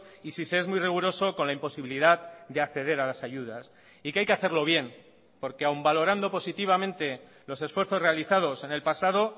y si se es muy riguroso con la imposibilidad de acceder a las ayudas y que hay que hacerlo bien porque aun valorando positivamente los esfuerzos realizados en el pasado